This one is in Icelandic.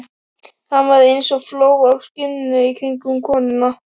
Hann var eins og fló á skinni í kringum konuna.